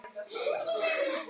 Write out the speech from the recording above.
Fólk greip bara í tómt.